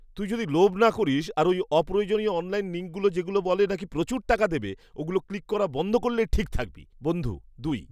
তুই যদি লোভ না করিস আর ওই অপ্রয়োজনীয় অনলাইন লিঙ্কগুলো যেগুলো বলে নাকি প্রচুর টাকা দেবে, ওগুলো ক্লিক করা বন্ধ করলে ঠিক থাকবি। বন্ধু দুই